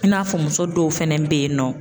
I n'a fɔ muso dɔw fɛnɛ be yen nɔ